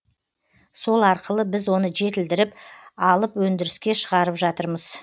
сол арқылы біз оны жетілдіріп алып өндіріске шығарып жатырмыз